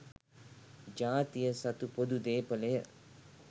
ජාතිය සතු පොදු දේපලය.